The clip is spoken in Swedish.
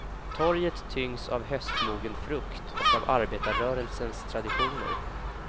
Torget tyngs av höstmogen frukt och av arbetarrörelsens traditioner.